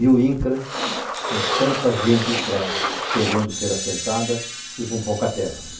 E o Incra com tanta gente, para, querendo ser assentada e com pouca terra.